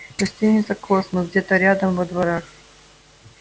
гостиница космос где-то рядом во дворах